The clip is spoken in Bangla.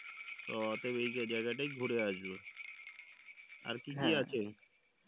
অতয়েব এই জায়গাটাই ঘুরে আসবো আর কী কী আছে?